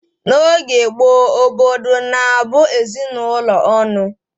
N'oge gboo, obodo na-abụ ezinụlọ ọnụ